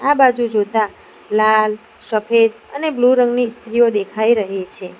આ બાજુ જોતા લાલ સફેદ અને બ્લુ રંગની ઈસ્ત્રીઓ દેખાઈ રહી છે.